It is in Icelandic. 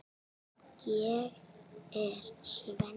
Ég er Svenni.